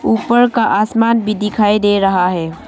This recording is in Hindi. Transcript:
ऊपर का आसमान भी दिखाई दे रहा है।